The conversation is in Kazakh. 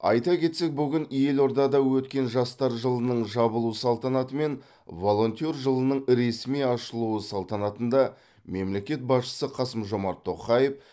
айта кетсек бүгін елордада өткен жастар жылының жабылу салтанаты мен волонтер жылының ресми ашылуы салтанатында мемлекет басшысы қасым жомарт тоқаев